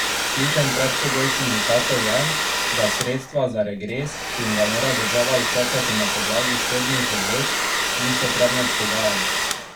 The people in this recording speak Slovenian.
Ključen predpogoj sindikatov je, da sredstva za regres, ki jim ga mora država izplačati na podlagi sodnih odločb, niso predmet pogajanj.